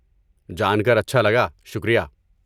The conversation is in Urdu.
جان کر اچھا لگا، شکریہ۔